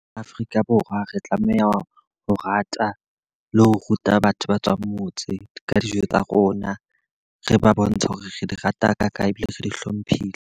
Afrika Borwa re tlameha ho rata le ho ruta batho ba tswang motse ka dijo tsa rona. Re ba bontshe hore re di rata hakakang ebile re di hlomphile.